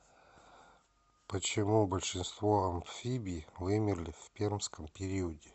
почему большинство амфибий вымерли в пермском периоде